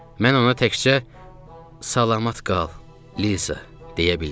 Mən ona təkcə "Salamat qal, Liza!" deyə bildim.